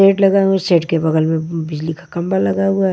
Shade लगा हुआ है के बाजू में बिजली का खंभा लगा हुआ है।